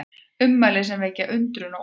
Ummæli sem vekja undrun og ólgu